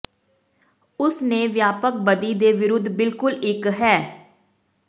ਉਸ ਨੇ ਵਿਆਪਕ ਬਦੀ ਦੇ ਵਿਰੁੱਧ ਬਿਲਕੁਲ ਇੱਕ ਹੈ